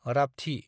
रापथि